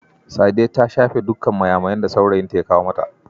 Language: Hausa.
Sadiya ta shafe dukkan mayamayan da saurayinta ya kawo mata.